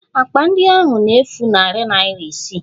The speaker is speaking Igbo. Akpa ndị ahụ na-efu narị naira isii